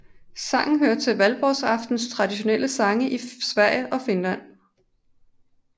Sangen hører til Valborgsaftens traditionelle sange i Sverige og Finland